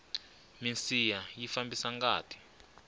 minsiha yi fambisa ngati